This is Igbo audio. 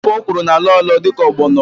Ofe ọkwụrụ na-alọ alọ dịka ọgbọnọ